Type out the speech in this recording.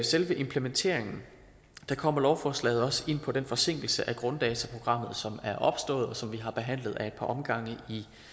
selve implementeringen kommer lovforslaget også ind på den forsinkelse af grunddataprogrammet som er opstået og som vi har behandlet ad et par omgange